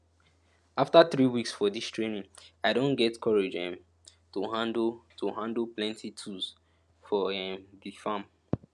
after three weeks for dis training i don get courage um to handle to handle plenty tools for um di farm